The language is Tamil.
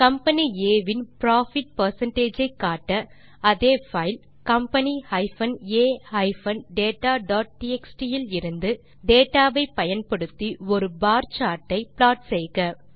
கம்பனி ஆ இன் புரோஃபிட் பெர்சென்டேஜ் ஐ காட்ட அதே பைல் company a dataடிஎக்ஸ்டி விலிருந்து டேட்டா வை பயன்படுத்தி ஒரு பார் சார்ட் ஐ ப்லாட் செய்க